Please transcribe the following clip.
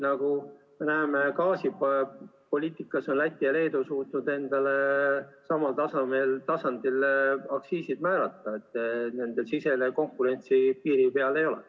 Nagu me näeme, gaasipoliitikas on Läti ja Leedu suutnud endale samal tasemel aktsiisid määrata, nendel konkurentsipiiri ees ei ole.